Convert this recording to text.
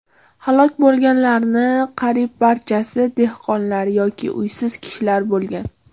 Halok bo‘lganlarning qariyb barchasi dehqonlar yoki uysiz kishilar bo‘lgan.